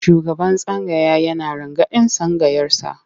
Shugaban tsangaya yana rangadin tsangayarsa.